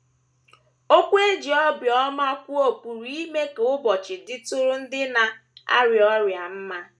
Okwu e ji obiọma kwuo pụrụ ime ka ụbọchị dịtụrụ ndị na - arịa ọrịa mma.